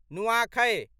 नुआखै